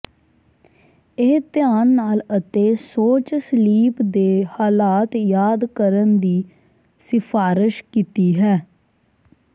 ਇਹ ਧਿਆਨ ਨਾਲ ਅਤੇ ਸੋਚ ਸਲੀਪ ਦੇ ਹਾਲਾਤ ਯਾਦ ਕਰਨ ਦੀ ਸਿਫਾਰਸ਼ ਕੀਤੀ ਹੈ